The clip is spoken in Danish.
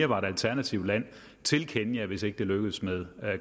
var et alternativt land til kenya hvis ikke det lykkes med